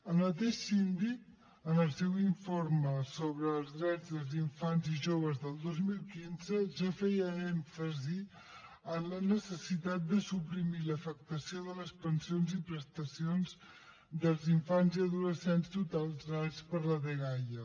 el mateix síndic en el seu informe sobre els drets dels infants i joves del dos mil quinze ja feia èmfasi en la necessitat de suprimir l’afectació de les pensions i prestacions dels infants i adolescents tutelats per la dgaia